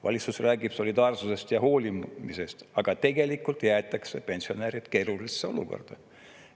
Valitsus räägib solidaarsusest ja hoolimisest, aga tegelikult jäetakse pensionärid keerulisse olukorda.